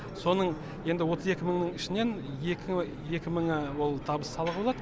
соның енді отыз екі мың ішінен екі мыңы ол табыс салығы болады